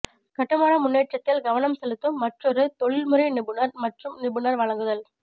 கட்டுமான முன்னேற்றத்தில் கவனம் செலுத்தும் மற்றொரு தொழில்முறை நிபுணர் மற்றும் நிபுணர் வழங்குதல்